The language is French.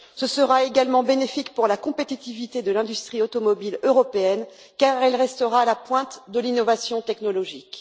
Ce sera également bénéfique pour la compétitivité de l'industrie automobile européenne, car elle restera à la pointe de l'innovation technologique.